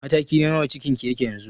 Mataki na nawa cikin ki yake yanzu?